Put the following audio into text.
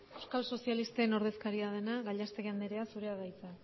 euskal sozialista ordezkaria dena gallastegui andrea zurea da hitza